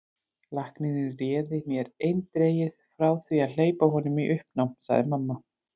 Læknirinn réði mér eindregið frá því að hleypa honum í uppnám, segir mamma.